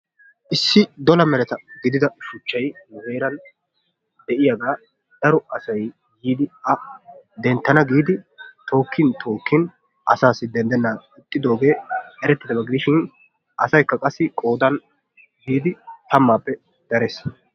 Issi dola meretta gidida shuchchay nu heeran de'iyagaa daro asay yiidi a denttana giidi tookkin tookkin asaassi ixxidoogee eretidaba gidishin asaykka qassi qoodan biidi tammappe darees.